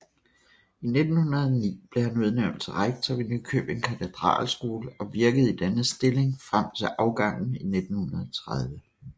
I 1909 blev han udnævnt til rektor ved Nykøbing Katedralskole og virkede i denne stilling frem til afgangen i 1930